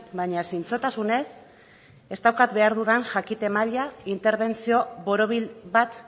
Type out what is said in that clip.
baina zintzotasunez ez daukat behar dudan jakite maila interbentzio borobil bat